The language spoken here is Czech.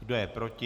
Kdo je proti?